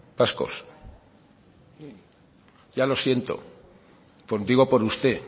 vascos ya lo siento lo digo por usted